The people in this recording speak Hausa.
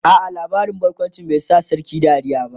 a'a labarin barkawncin bai Sa sarkin Dariya ba